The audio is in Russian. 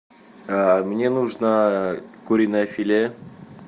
мне нужно куриное филе